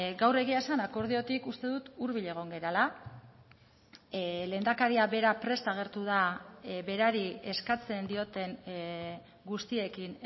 gaur egia esan akordiotik uste dut hurbil egon garela lehendakaria bera prest agertu da berari eskatzen dioten guztiekin